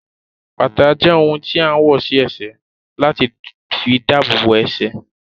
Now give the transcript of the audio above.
Bàtà jẹ́ ohun tí a ń wọ̀ sí ẹsẹ̀ láti fi dabobo ẹsẹ̀